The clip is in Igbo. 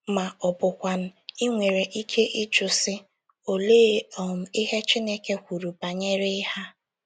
Ma ọ bụkwanụ,, i nwere ike ịjụ sị, ‘ Olee um ihe Chineke kwuru banyere ihe a? ’